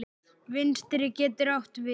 Vinstri getur átt við